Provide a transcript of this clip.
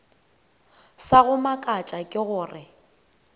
sa go mmakatša ke gore